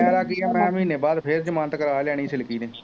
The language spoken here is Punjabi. ਮੇਰਾ ਕੀ ਹੈ ਮੈਂ ਮਹੀਨੇ ਬਾਅਦ ਫੇਰ ਜ਼ਮਾਨਤ ਕਰਾ ਲਿਆਉਣੀ ਸਿਲਕੀ ਨੇ